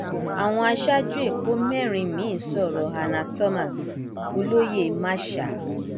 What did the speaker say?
àwọn aṣáájú ẹkọ mẹrin miín sọrọ hannah thomas olóyè masha t